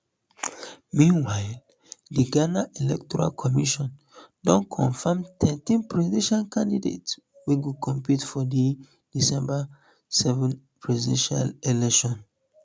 meanwhile di ghana electoral commission don confam thirteen presidential candidates wey go compete for di december seven presidential election